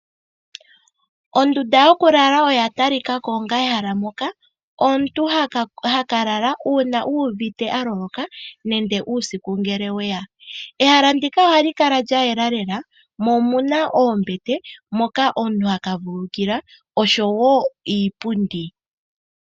Ondunda yoku lala oya tali kako onga ehala moka omuntu haka ka lala uuna uuvite a loloka nenge uusiku ngele weya. Ehala ndika ohali kala lya yela lela mo omuna oombete moka omuntu haka vululukila oshowo iipundi .